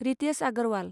Ritesh Agarwal